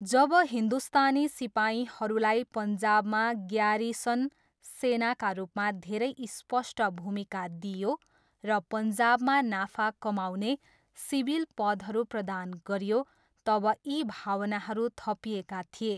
जब हिन्दुस्तानी सिपाहीहरूलाई पन्जाबमा ग्यारिसन सेनाका रूपमा धेरै स्पष्ट भूमिका दिइयो र पन्जाबमा नाफा कमाउने सिभिल पदहरू प्रदान गरियो तब यी भावनाहरू थपिएका थिए।